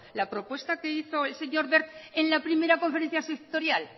la propuesta que hizo elseñor wert en la primera conferencia sectorial